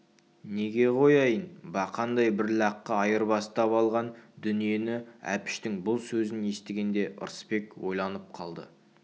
неге қояйын бақандай бір лаққа айырбастап алған дүниені әпіштің бұл сөзін естігенде ырысбек ойланып қалды